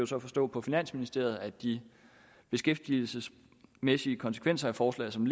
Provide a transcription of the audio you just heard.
så forstå på finansministeriet at de beskæftigelsesmæssige konsekvenser af forslaget som